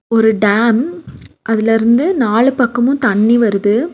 ஒரு டேம் அதுலருந்து நாலு பக்கமு தண்ணி வருது.